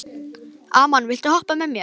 Amon, viltu hoppa með mér?